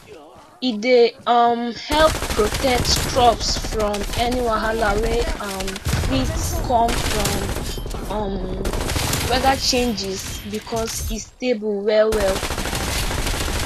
e dey um help protect crops from any wahala wey um fit come from um weather changes because e stable well well